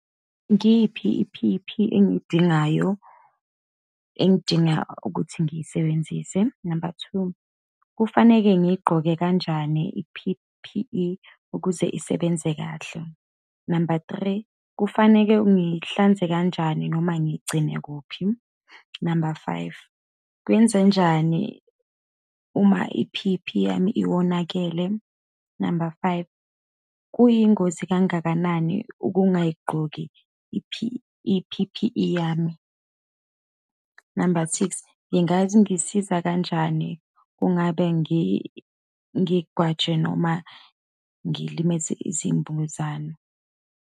Ngiyiphi i-P_E_P engiyidingayo, engidinga ukuthi ngiyisebenzise? Number two, kufaneke ngiyigqoke kanjani i-P_P_E ukuze isebenze kahle? Number three, kufaneke ngiyihlanze kanjani, noma ngiyigcine kuphi? Number five, kwenzenjani uma-P_P yami iwonakele. Number five, kuyingozi kangakanani ukungayigqoki i-P, i-P_P_E yami. Number six, ingangisiza kanjani kungabe ngi, ngigwajwe, noma ngilimaze izimbuzane.